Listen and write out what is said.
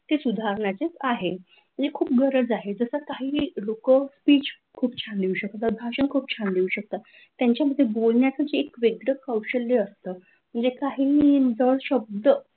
ते सुधारण्याचेच आहे हे खूप गरज आहे जसे काही लोक स्पीच खूप छान लिहू शकतात किंवा भाषण क्यू छान देऊ शकतात त्यांच्यामध्ये बोलण्याचे एक वेगळच कौशल्य असतं म्हणजे काहीही विविध शब्द,